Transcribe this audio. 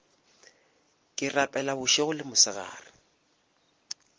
ke rapela bošego le mosegare